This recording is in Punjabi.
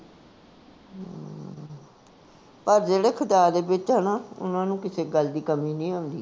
ਪਰ ਜਿਹੜੇ ਖੁਦਾ ਦੇ ਵਿਚ ਆ ਨਾ, ਓਹਨਾ ਨੂੰ ਕਿਸੇ ਗੱਲ ਦੀ ਕਮੀ ਨੀ ਹੁੰਦੀ